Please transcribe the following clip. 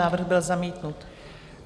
Návrh byl zamítnut.